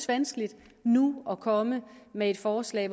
vanskeligt nu at komme med et forslag